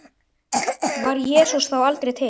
Var Jesús þá aldrei til?